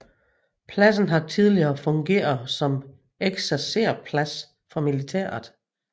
Pladsen har tidligere fungeret som ekserserplads for militæret